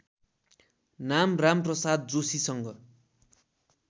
नाम रामप्रसाद जोशीसँग